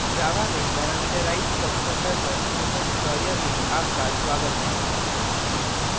java में parameterized constructor पर spoken tutorial में आपका स्वागत है